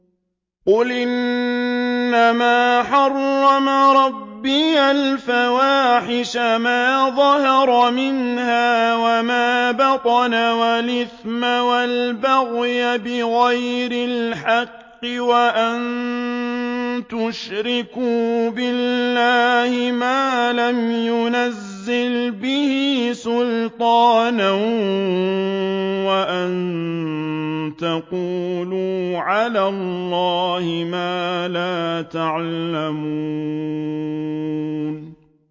قُلْ إِنَّمَا حَرَّمَ رَبِّيَ الْفَوَاحِشَ مَا ظَهَرَ مِنْهَا وَمَا بَطَنَ وَالْإِثْمَ وَالْبَغْيَ بِغَيْرِ الْحَقِّ وَأَن تُشْرِكُوا بِاللَّهِ مَا لَمْ يُنَزِّلْ بِهِ سُلْطَانًا وَأَن تَقُولُوا عَلَى اللَّهِ مَا لَا تَعْلَمُونَ